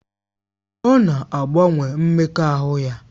Ọ na-agbanwe mmekọahụ ya